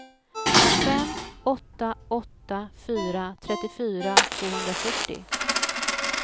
fem åtta åtta fyra trettiofyra tvåhundrafyrtio